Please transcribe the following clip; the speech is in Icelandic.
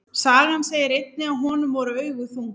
Sagan segir einnig að honum voru augu þung.